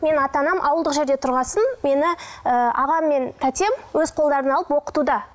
менің ата анам ауылдық жерде тұрған соң мені ы ағам мен тәтем өз қолдарына алып оқытуда